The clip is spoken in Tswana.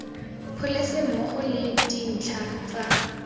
pholese mmogo le dintlha tsa